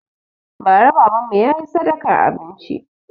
Ba ra baban mu ya yi sadakan abinci